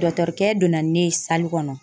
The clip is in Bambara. Dɔtɔrikɛ donna ni ne ye kɔnɔ.